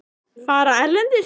Fara erlendis?